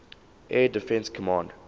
air defense command